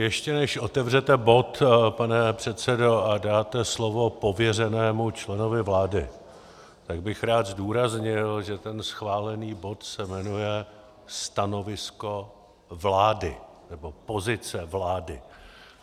Ještě než otevřete bod, pane předsedo, a dáte slovo pověřenému členovi vlády, tak bych rád zdůraznil, že ten schválený bod se jmenuje stanovisko vlády, nebo pozice vlády.